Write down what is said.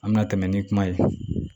An bɛna tɛmɛ ni kuma ye